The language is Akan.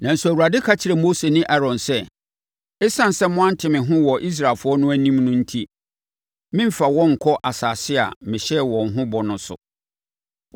Nanso, Awurade ka kyerɛɛ Mose ne Aaron sɛ, “Esiane sɛ moante me ho wɔ Israelfoɔ no anim no enti, moremfa wɔn nkɔ asase a mehyɛɛ wɔn ho bɔ no so!”